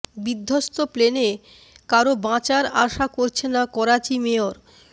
বিধ্বস্ত প্লেনে কারো বাঁচার আশা করছেন না করাচি মেয়র